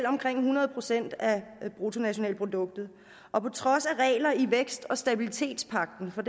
omkring hundrede procent af bruttonationalproduktet og på trods af regler i vækst og stabilitetspagten for